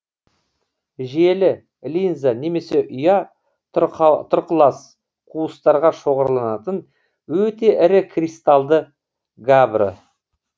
желі линза немесе ұя тұрқылас қуыстарға шоғырланатын өте ірі кристалды габбро